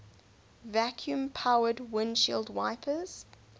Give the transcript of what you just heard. vacuum powered windshield wipers